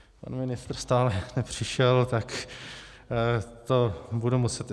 Pan ministr stále nepřišel, tak to budu muset...